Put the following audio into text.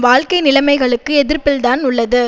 வாழ்க்கை நிலைமைகளுக்கு எதிர்ப்பில்தான் உள்ளது